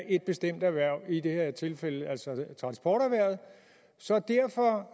et bestemt erhverv i det her tilfælde altså transporterhvervet så derfor